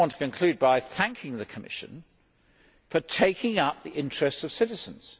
I just want to conclude by thanking the Commission for taking up the interests of citizens.